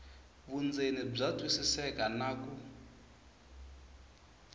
vundzeni bya twisiseka na ku